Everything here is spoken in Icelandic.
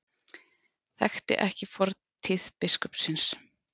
Þekkti ekki fortíð biskupsins